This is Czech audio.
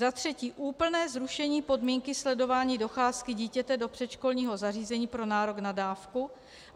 Za třetí - úplné zrušení podmínky sledování docházky dítěte do předškolního zařízení pro nárok na dávku.